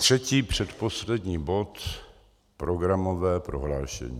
Třetí, předposlední, bod - programové prohlášení.